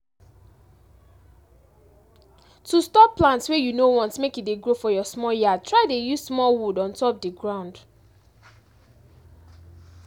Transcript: to stop plant wey you no want make e dey grow for your small yard try dey use small wood on top di ground